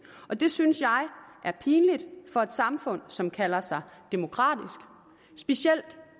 og det synes jeg er pinligt for et samfund som kalder sig demokratisk specielt